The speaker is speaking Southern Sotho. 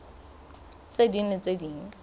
tse ding le tse ding